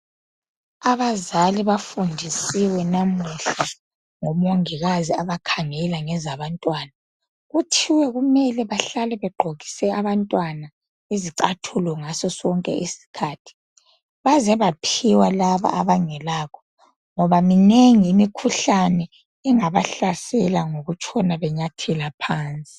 Abazali bafundisiwe namuhla ngomongikazi abakhangela ngezabantwana .Kuthiwe kumele bahlale begqokise abantwana izicathulo ngaso sonke isikhathi. Baze baphiwa laba abangelakho . Ngoba minengi imkhuhlane engabahlasela ngokutshona benyathela phansi .